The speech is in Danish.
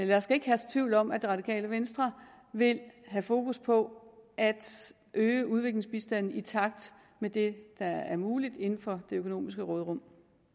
der skal ikke herske tvivl om at det radikale venstre vil have fokus på at øge udviklingsbistanden i takt med det der er muligt inden for det økonomiske råderum